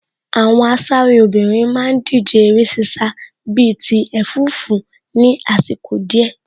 Àwọn asáré obìnrin má ń díje eré ṣíṣá bíi ti ẹ̀fúùfù ní àsìkò díẹ̀